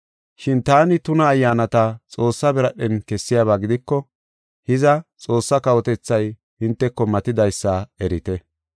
Shin taani tuna ayyaanata Xoossa biradhen kessiyaba gidiko, hiza, Xoossaa kawotethay hinteko matidaysa erite.